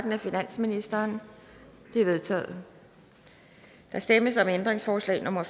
af finansministeren de er vedtaget der stemmes om ændringsforslag nummer